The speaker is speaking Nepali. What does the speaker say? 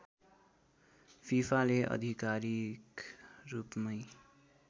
फिफाले आधिकारिक रूपमै